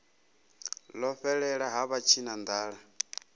ḽo fhelela ha vha tshinanḓala